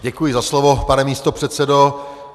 Děkuji za slovo, pane místopředsedo.